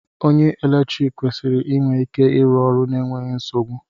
Onye eletrik kwesịrị inwe ike ịrụ ọrụ n'enweghị nsogbu